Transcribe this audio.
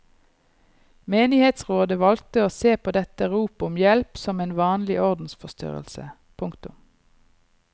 Menighetsrådet valgte å se på dette rop om hjelp som en vanlig ordensforstyrrelse. punktum